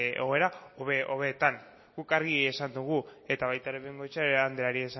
egoera hobeetan guk argi esan dugu eta baita ere bengoechea andreari